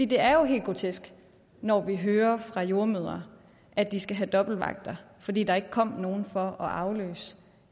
det er jo helt grotesk når vi hører fra jordemødre at de skal have dobbeltvagter fordi der ikke kom nogen for at afløse